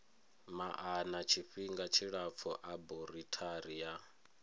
maana tshifhinga tshilapfu aborithari na